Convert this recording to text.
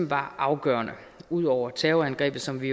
var afgørende ud over terrorangrebet som vi